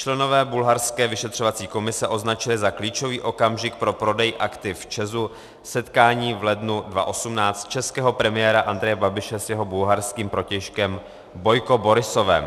Členové bulharské vyšetřovací komise označili za klíčový okamžik pro prodej aktiv ČEZ setkání v lednu 2018 českého premiéra Andreje Babiše s jeho bulharským protějškem Bojko Borisovem.